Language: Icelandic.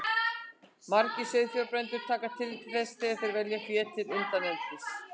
Margir sauðfjárbændur taka tillit til þess þegar þeir velja fé til undaneldis.